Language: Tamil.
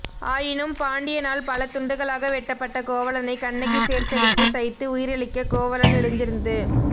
ஆயினும் பாண்டியனால் பல துண்டங்களாக வெட்டப்பட்ட கோவலனைக் கண்ணகி சேர்த்தெடுத்துத் தைத்து உயிரளிக்கக் கோவலன் எழுந்திருந்து